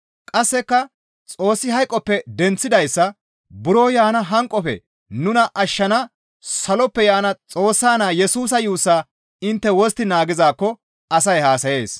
Qasseka Xoossi hayqoppe denththidayssa buro yaana hanqofe nuna ashshana Saloppe yaana Xoossa Naa Yesusa yuussaa intte wostti naagizaakko asay haasayees.